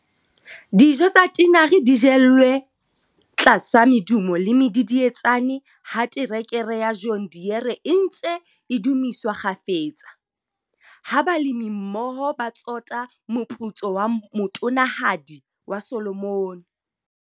Dijo tsa tinare di jelwe tlasa medumo le medidietsane ha terekere ya John Deere e ntse e dumiswa kgafetsa, ha balemimmoho ba tsota moputso wa motonanahadi wa Solomon.